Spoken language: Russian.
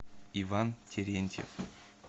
иван терентьев